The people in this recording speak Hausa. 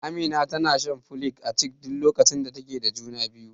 Amina tana shan folik acid a duk lokacin da take da juna biyu.